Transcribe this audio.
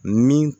Ni